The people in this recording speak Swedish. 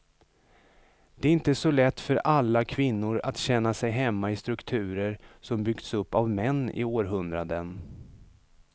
Det är inte så lätt för alla kvinnor att känna sig hemma i strukturer som byggts upp av män i århundraden.